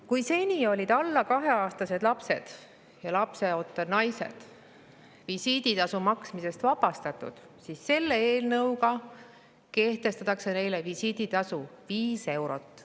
Kui seni olid alla kaheaastased lapsed ja lapseootel naised visiiditasu maksmisest vabastatud, siis selle eelnõuga kehtestatakse neile visiiditasu 5 eurot.